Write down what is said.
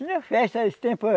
Tinha festa nesse tempo.